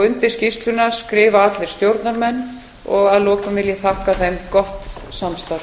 undir skýrsluna skrifa allir stjórnarmenn og að lokum vil ég þakka þeim gott samstarf